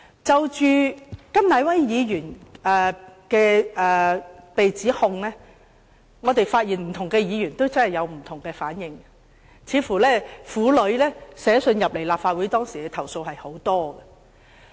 就着對甘乃威議員所作出的指控，我們發現不同的議員有不同的反應，當時似乎有很多婦女致函立法會作出投訴。